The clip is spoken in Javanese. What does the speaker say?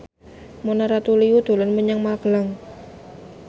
Mona Ratuliu dolan menyang Magelang